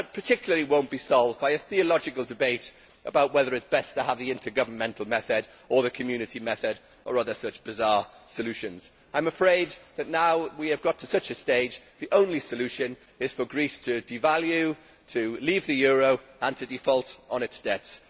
In particular, it will not be solved by a theological debate about whether it is best to have the intergovernmental method, or the Community method, or other such bizarre solutions. I am afraid that we have now reached such a stage that the only solution is for Greece to devalue, to leave the euro and to default on its debts.